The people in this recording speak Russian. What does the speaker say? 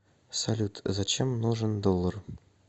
салют зачем нужен доллар